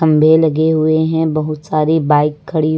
में लगे हुए हैं बहुत सारी बाइक खड़ी--